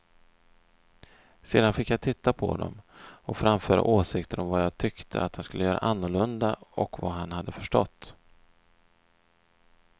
Sedan fick jag titta på dem och framföra åsikter om vad jag tyckte att han skulle göra annorlunda och vad han hade förstått.